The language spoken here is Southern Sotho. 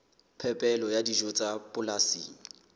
phepelo ya dijo tsa polasing